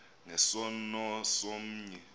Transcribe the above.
nge sono somnye